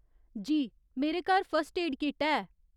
जी, मेरे घर first aid kit है।